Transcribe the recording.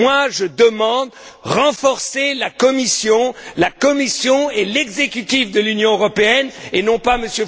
Je demande à renforcer la Commission la Commission et l'exécutif de l'Union européenne et non pas